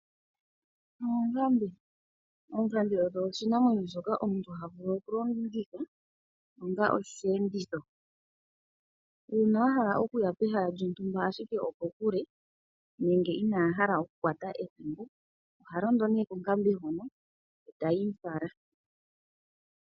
Oonkambe .Oonkambe odho oshinamwenyo shoka omuntu havulu okulongitha onga osheenditho . Uuna ahala okuya pehala lyontumba ashike okokule nenge inahala okulongitha ethimbo ,ohalondo konkambe hono etayi mufala.